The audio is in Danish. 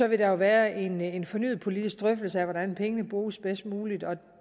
vil der jo være en en fornyet politisk drøftelse af hvordan pengene bruges bedst muligt og